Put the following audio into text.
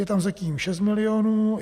Je tam zatím 6 milionů.